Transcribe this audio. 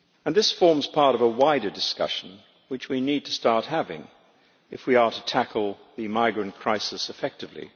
This forms part of a wider discussion which we need to start having if we are to tackle the migrant crisis effectively.